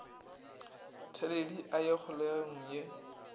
theledi a ye kgolegong ge